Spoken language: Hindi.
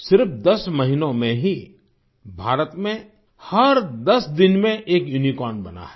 सिर्फ 10 महीनों में ही भारत में हर 10 दिन में एक यूनिकॉर्न बना है